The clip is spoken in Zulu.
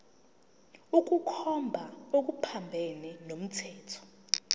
ukukhomba okuphambene nomthetho